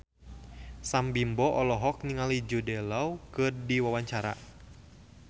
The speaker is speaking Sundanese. Sam Bimbo olohok ningali Jude Law keur diwawancara